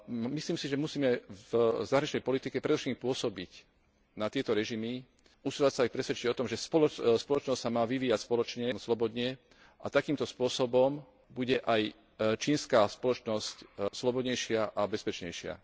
Myslím si však, že musíme v zahraničnej politike predovšetkým pôsobiť na tieto režimy, usilovať sa ich presvedčiť o tom, že spoločnosť sa má vyvíjať slobodne, a takýmto spôsobom bude aj čínska spoločnosť slobodnejšia a bezpečnejšia.